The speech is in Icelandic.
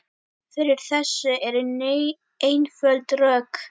Fyrir þessu eru einföld rök.